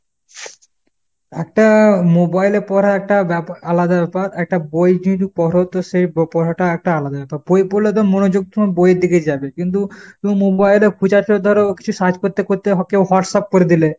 একটা mobile এ পড়া একটা আলাদা ব্যাপার একটা বই যদি পড়ো তো সেই পড়াটা একটা আলাদা ব্যাপার। বই পড়লে তোর মনোযোগ বইয়ের দিকেই যাবে। কিন্তু তুমি mobile এ খোঁজার ধরো কিছু search করতে করতে কেউ Whatsapp করে দিলে।